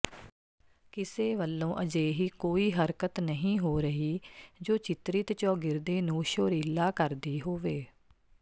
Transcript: ਕਿਸੇ ਵੱਲੋਂ ਅਜਿਹੀ ਕੋਈ ਹਰਕਤ ਨਹੀਂ ਹੋ ਰਹੀ ਜੋ ਚਿਤਰਿਤ ਚੌਗਿਰਦੇ ਨੂੰ ਸ਼ੋਰੀਲਾ ਕਰਦੀ ਹੋਵੇ